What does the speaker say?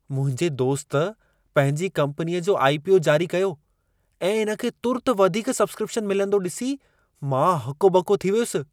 मुंहिंजे दोस्त पंहिंजी कम्पनीअ जो आई.पी.ओ. जारी कयो ऐं इन खे तुर्त वधीक सब्स्क्रिप्शन मिलंदो ॾिसी, मां हको ॿको थी वियुसि।